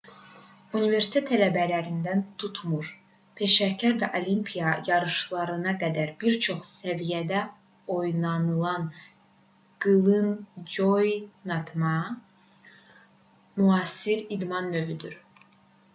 universitet tələbələrindən tutmuş peşəkar və olimpiya yarışlarına qədər bir çox səviyyədə oynanılan qılıncoynatma müasir idman növüdür